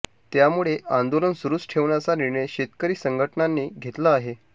त्यामुळे आंदोलन सुरुच ठेवण्याचा निर्णय शेतकरी संघटनांनी घेतला आहे